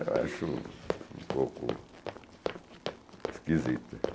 Eu acho um pouco... Esquisita.